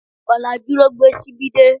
Ọ̀làjú ló gbé ṣíbí dé